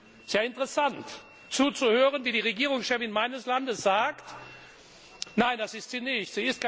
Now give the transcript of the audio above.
Es ist ja interessant, zu hören, wie die Regierungschefin meines Landes sagt Nein, das ist sie nicht.